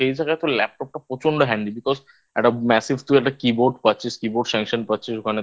সেই জায়গায় তো Laptop টা প্রচন্ড Handy Because একটা Message তুই একটা Keyboard পাচ্ছিস Keyboard Sanction পাচ্ছিস ওখানে তোর Mainbeld Mouse পাচ্ছিস